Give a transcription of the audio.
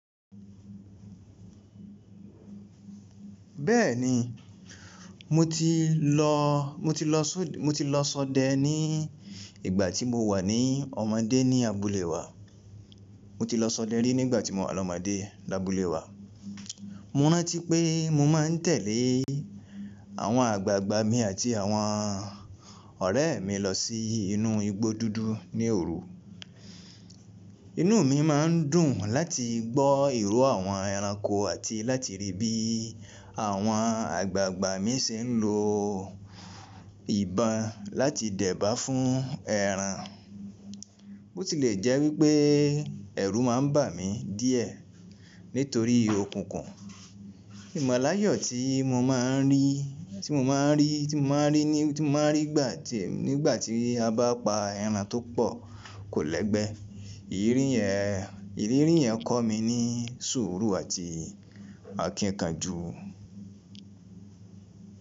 Bẹ́ẹ̀ni, mo ti lọ, mo ti lọ só, mo ti lọ sọdẹ ni ìgbà tí mo wà ní ọmọdé ní abúlé wa. Mo ti lọ sọdẹ rí nígbà tí mo wà lọ́mọdé lábúlé wa. Mo rántí pé mo máa ń tẹ̀lé àwọn àgbààgbà mi àti àwọn ọ̀rẹ́ mi lọ sí inú igbó dúdú ní òru. Inú mi má ń dùn láti gbọ́ ìró àwọn ẹranko àti láti rí bí àwọn àgbààgbà mi ṣe ń lo ìbọn láti dẹ̀bà fún ẹran. Ó ti lè jẹ́ wípé ẹ̀rù má ń bà mí díẹ̀ nítorí okùnkun. Ìmọ̀láyọ̀ tí mo má ń rí, tí mo má ń rí, tí mo má ń rí ní, tí mo má ń rí nígbà tí, nígbà tí a bá pa ẹran tó pọ̀ kò lẹ́gbẹ́. Ìrírí yẹn, ìrírí yẹn kọ́ mi ní sùúrù àti àkìnkanjú.